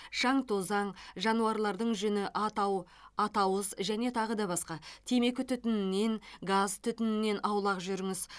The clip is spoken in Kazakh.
шаң тозаң жануарлардың жүні атау атауыз және тағы да басқа темекі түтінінен газ түтінінен аулақ жүріңіз